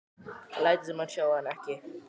Hann lætur sem hann sjái hana ekki.